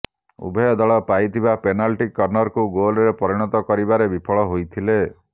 ଉଭୟ ଦଳ ପାଇଥିବା ପେନାଲଟି କର୍ନରକୁ ଗୋଲରେ ପରିଣତ କରିବାରେ ବିଫଳ ହୋଇଥିଲେ